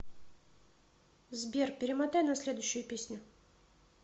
сбер перемотай на следующую песню